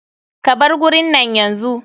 Ka bar gurin nan yanzu.